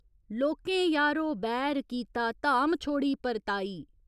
लोकें यारो बैर कीता, धाम छोड़ी परताई।